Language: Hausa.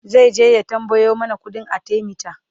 zaije ya tambayo mana ƙuɗin arthemeter